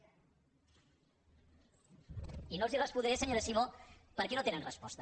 i no les hi respondré senyora simó perquè no tenen resposta